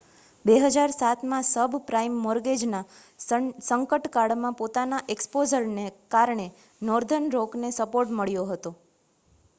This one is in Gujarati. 2007માં સબપ્રાઇમ મૉર્ગેજના સંકટકાળમાં પોતાના એક્સ્પોઝરને કારણે નૉર્ધર્ન રૉકને સપોર્ટ મળ્યો હતો